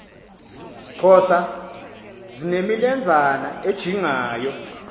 xhosa zinemilenzana ejingayo